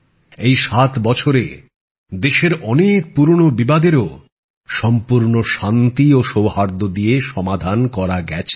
এই ৭ বছরে দেশের অনেক পুরোনো বিবাদের ও সম্পূর্ণ শান্তি ও সৌহার্দ্য দিয়ে সমাধান করা গেছে